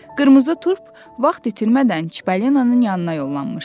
Qırmızı Turp vaxt itirmədən Çipolinonun yanına yollanmışdı.